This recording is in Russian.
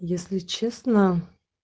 если честно